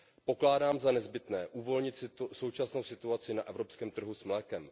Pokládám za nezbytné uvolnit současnou situaci na evropském trhu s mlékem.